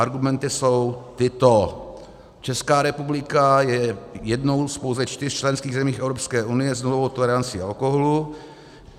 Argumenty jsou tyto: Česká republika je jednou z pouze čtyř členských zemí Evropské unie s nulovou tolerancí alkoholu.